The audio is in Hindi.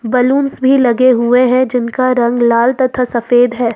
बलूंस भी लगे हुए हैं जिनका रंग लाल तथा सफेद है।